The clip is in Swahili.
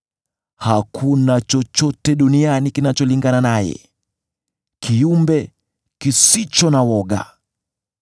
Hakuna chochote duniani kinacholingana naye: yeye ni kiumbe kisicho na woga.